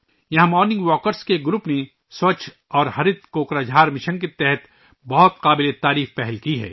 یہاں morning walkers کے ایک گروپ نے ' سووچھ اور ہرِت کوکراجھار ' مشن کے تحت ایک بہت ہی قابل تعریف پہل کی ہے